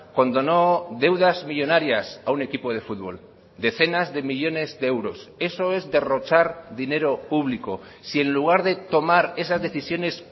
condonó deudas millónarias a un equipo de fútbol decenas de millónes de euros eso es derrochar dinero público si en lugar de tomar esas decisiones